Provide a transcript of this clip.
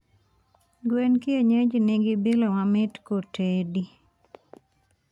gwen kienyeji nigi bilo mamit kotedi